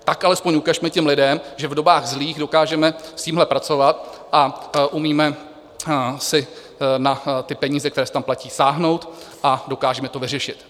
Tak alespoň ukažme těm lidem, že v dobách zlých dokážeme s tímhle pracovat a umíme si na ty peníze, které se tam platí, sáhnout a dokážeme to vyřešit.